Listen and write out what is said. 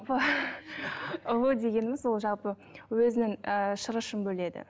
ұлу дегеніміз ол жалпы өзінің ы шырышын бөледі